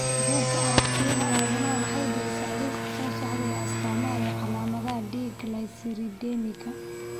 Bugga Aaragtiyaha Aadanaha waxay bixisaa liiska soo socda ee astamaha iyo calaamadaha D glyceridemiga.